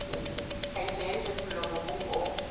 tlhahiso ya dijothollo mobung o